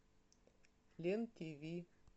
лен тв